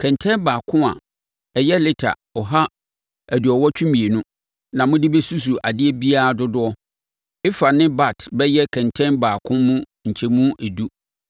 Kɛntɛn baako, a ɛyɛ lita ɔha aduɔwɔtwe mmienu (182), na mode bɛsusu adeɛ biara dodoɔ; ɛfah ne bat bɛyɛ kɛntɛn baako mu nkyɛmu edu.